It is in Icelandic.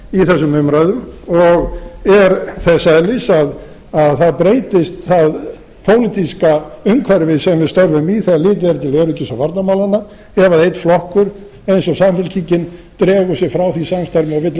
í þessum umræðum og er þess eðlis að það breytist það pólitíska umhverfi sem við störfum í þegar litið er til öryggis og varnarmálanna ef einn flokkur eins og samfylkingin dregur sig frá því samstarfi og vill